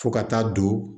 Fo ka taa don